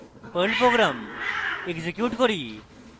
perl program execute করি